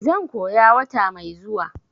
zan koya wata mai zuwa.